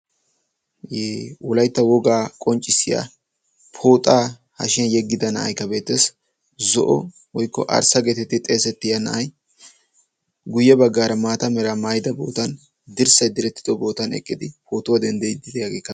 Wolaytta wogaa qonccissiya pooxaa hashiyan yeggida na"aykka beettes. Zo"o woykko arssa geetettidi xeesettiyaa na"ay guyye baggaara maata meraa maayida bootan dirssay direttido bootan eqqidi pootuwa denddiiddi diyaageekka beettes.